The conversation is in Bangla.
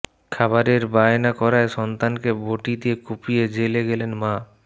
খাবারের বায়না করায় সন্তানকে বঁটি দিয়ে কুপিয়ে জেলে গেলেন মা